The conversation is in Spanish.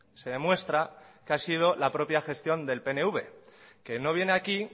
se demuestra que ha sido la propia gestión del pnv que no viene aquí